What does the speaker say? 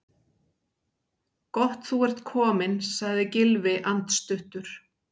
Gott þú ert kominn- sagði Gylfi andstuttur.